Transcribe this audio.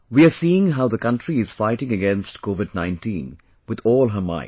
We are seeing how the country is fighting against Covid19 with all her might